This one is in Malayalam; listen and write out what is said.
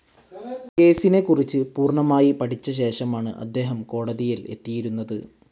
കേസിനെക്കുറിച്ച് പൂർണ്ണമായി പഠിച്ച ശേഷമാണ് അദ്ദേഹം കോടതിയിൽ എത്തിയിരുന്നത്.